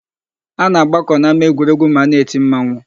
A na-agbakọ n'ámáegwuregwu ma a na-eti mmanwụ.